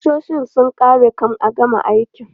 Ƙusoshin sun ƙare kan a gama aikin.